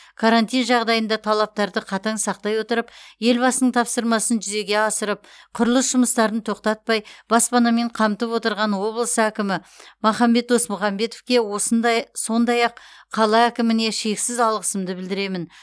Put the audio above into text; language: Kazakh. карантин жағдайында талаптарды қатаң сақтай отырып елбасының тапсырмасын жүзеге асырып құрылыс жұмыстарын тоқтатпай баспанамен қамтып отырған облыс әкім махамбет досмұхамбетовке осындай сондай ақ қала әкіміне шексіз алғысымды білдіремін